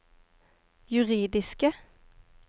juridiske